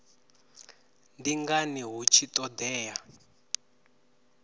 ndi ngani hu tshi todea